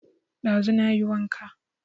Ɗazu na yi wanka